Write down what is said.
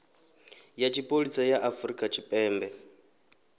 ya tshipholisa ya afrika tshipembe